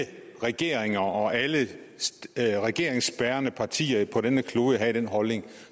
regeringer og alle regeringsbærende partier på denne klode havde den holdning